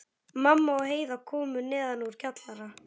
Mamma og Heiða komu neðan úr kjallara.